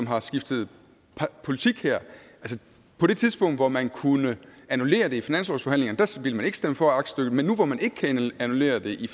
har skiftet politik på det tidspunkt hvor man kunne annullere det i finanslovsforhandlingerne ville man ikke stemme for aktstykket men nu hvor man ikke kan annullere det i